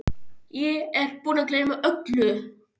Ég er búinn að gleyma öllu!